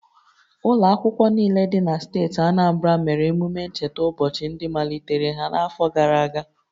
Ụlọ akwụkwọ niile dị na steeti Anambra mere emume ncheta ụbọchị ndị malitere ha n'afọ gara aga